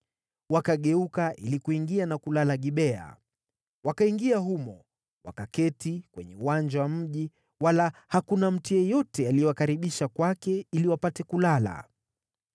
Wakageuka ili kuingia na kulala Gibea. Wakaingia humo, wakaketi kwenye uwanja wa mji, wala hakuna mtu yeyote aliyewakaribisha kwake ili wapate kulala.